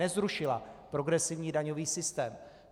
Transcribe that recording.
Nezrušila progresivní daňový systém.